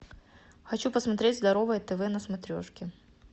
хочу посмотреть здоровое тв на смотрешке